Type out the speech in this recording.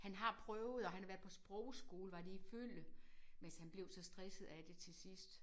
Han har prøvet og han har været på sprogskole var det i Følle men altså han blev så stresset af det til sidst